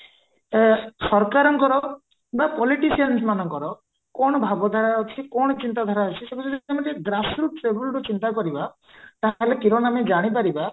ୟେ ସରକାରଙ୍କର ବା politicians ମାନଙ୍କର କଣ ଭବଦାୟ ଅଛି କଣ ଚିନ୍ତା ଧାରା ଅଛି ଚିନ୍ତା କରିବା ତାହେଲେ କିରଣ ଆମେ ଯାନୀ ପାରିବା